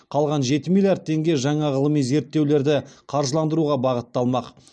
қалған жеті миллиард теңге жаңа ғылыми зерттеулерді қаржыландыруға бағытталмақ